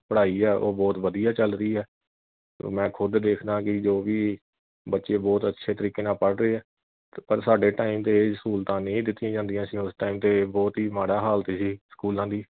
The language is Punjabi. ਪੜਾਈ ਆ ਉਹ ਬਹੁਤ ਵਧੀਆ ਚੱਲ ਰਹੀ ਆ ਮੈਂ ਖੁਦ ਦੇਖਦਾ ਆ ਜੋ ਵੀ ਬੱਚੇ ਬਹੁਤ ਅੱਛੇ ਤਰੀਕੇ ਨਾਲ ਪੜ ਰਹੇ ਆ ਪਰ ਸਾਡੇ time ਤੇ ਇਹ ਸਹੂਲਤਾਂ ਨਹੀਂ ਦਿੱਤੀਆਂ ਜਾਂਦੀਆਂ ਸੀ ਉਸ ਤੇ ਬਹੁਤ ਹੀ ਮਾੜਾ ਹਾਲਤ ਸੀ ਸਕੂਲਾਂ ਦੀ